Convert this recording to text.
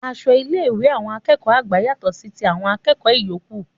Aṣọ ilé ìwé àwọn akẹ́kọ̀ọ́ àgbà yàtò sí ti àwọn akẹ́kọ̀ọ ìyókù